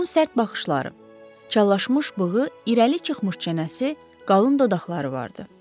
Onun sərt baxışları, çallaşmış bığı, irəli çıxmış çənəsi, qalın dodaqları vardı.